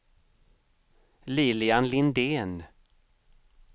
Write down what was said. Lilian Lindén